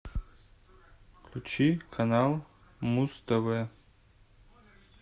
включи канал муз тв